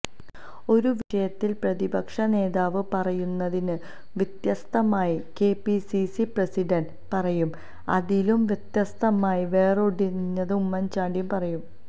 ഒരുവിഷയത്തിൽ പ്രതിപക്ഷ നേതാവ് പറയുന്നതിന് വ്യത്യസ്തമായി കെപിസിസി പ്രസിഡന്റ് പറയും അതിലും വ്യതസ്തമായി വേറൊരിടത്ത് ഉമ്മൻ ചാണ്ടി പറയും